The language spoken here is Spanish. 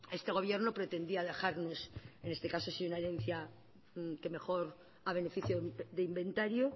este gobierno pretendía dejarnos en este caso sin una herencia que mejor a beneficio de inventario